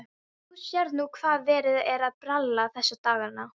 Þú sérð nú hvað verið er að bralla þessa dagana.